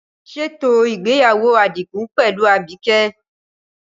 Ṣètò ìgbéyàwó Adigun pẹ̀lú Abike.